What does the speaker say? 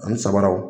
Ani sabaraw